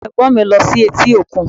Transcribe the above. Àwọn Ẹ̀gbọ́n mi lọ sí etí òkun